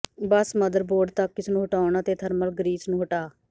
ਬਸ motherboard ਤੱਕ ਇਸ ਨੂੰ ਹਟਾਉਣ ਅਤੇ ਥਰਮਲ ਗਰੀਸ ਨੂੰ ਹਟਾ